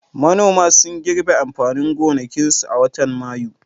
Manoma sun girbe amfanin gonakinsu a watan Mayu.